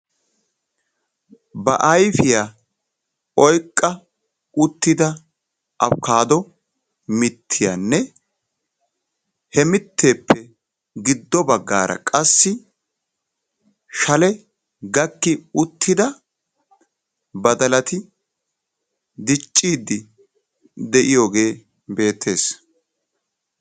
ba ayfiyaa oyqqa uttidda aybbikaddo mittiyaane he mitteppe giddo baggara qassi shale gakki uttidda badalati diccide de'iyooge beettees'